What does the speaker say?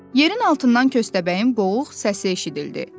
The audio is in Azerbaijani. Yerin altından Köstəbəyin boğuq səsi eşidildi.